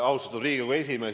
Austatud Riigikogu esimees!